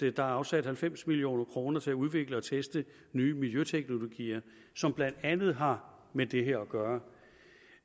er afsat halvfems million kroner til at udvikle og teste nye miljøteknologier som blandt andet har med det her at gøre